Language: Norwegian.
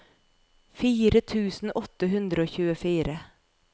fire tusen åtte hundre og tjuefire